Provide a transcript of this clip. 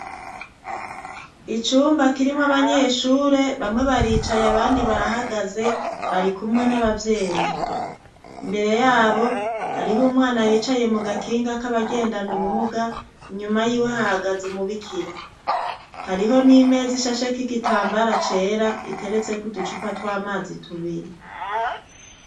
Icumba kirimwo abanyeshure. Bamwe baricaye ,abandi barahagaze, barikumwe n'abavyeyi. Imbere y'abo, hariho umwana yicaye mu gakinga k'abagendana ubumuga. Inyuma y'iwe hahagaze umubikira. Hariho n'imeza ishasheko igitambara cera iteretseko uducupa tw'amazi tubiri.